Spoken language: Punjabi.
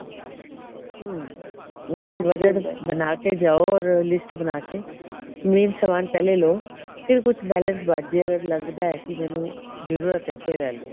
ਹਮ ਇਸੀ ਵਜਹਾ ਬਣਾਕੇ ਜਾਓ or list ਬਣਾਕੇ main ਸਮਾਨ ਪਹਿਲੇ ਲੋ ਫੇਰ ਕੁੱਛ balance ਬੱਚ੍ਹ ਜਾਏ ਅਗਰ ਲਗਦਾ ਮੈਨੂੰ ਜਰੂਰਤ ਹੈ ਫੇਰ ਲੈ ਲਓ